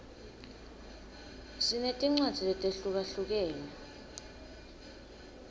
sinetincwadzi letehlukahlukene